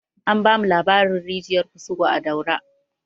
An bamu labarin rijiyar kusugu a daura